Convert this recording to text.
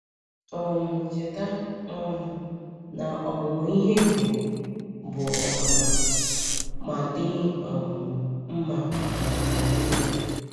um Cheta um na ọmụmụ ihe bụ bụ ọmụma — ma dị um mma ma ọ bụghị.